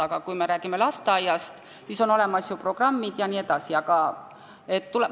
Aga kui me räägime lasteaiast, siis on ju olemas igasugused programmid jne.